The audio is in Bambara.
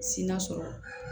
Si na sɔrɔ